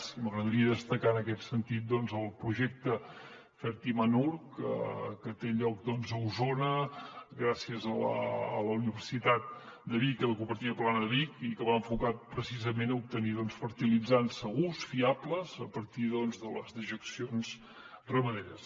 i m’agradaria destacar en aquest sentit el projecte fertimanure que té lloc a osona gràcies a la universitat de vic i a la cooperativa plana de vic i que va enfocat precisament a obtenir fertilitzants segurs fiables a partir de les dejeccions ramaderes